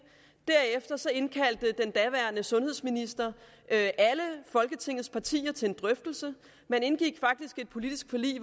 derefter indkaldte den daværende sundhedsminister alle folketingets partier til drøftelser man indgik faktisk et politisk forlig